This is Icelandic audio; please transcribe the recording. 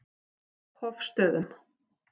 Hofstöðum